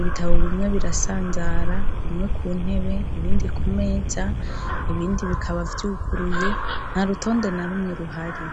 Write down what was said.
ibitabo bimwe birasanzara bimwe kuntebe ibindi kumeza ibindi bikaba vyuguruye, ntarutonde na rumwe ruhari.